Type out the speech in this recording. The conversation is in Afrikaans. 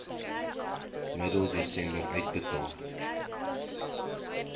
middel desember uitbetaal